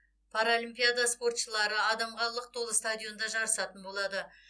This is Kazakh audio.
паралимпиада спортшылары адамға лық толы стадионда жарысатын болады